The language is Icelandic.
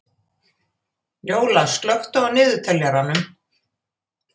Njóla, slökktu á niðurteljaranum.